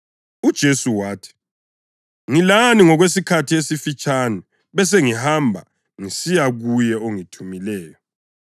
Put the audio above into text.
UJesu wathi, “Ngilani okwesikhathi esifitshane, besengihamba ngisiya kuye ongithumileyo.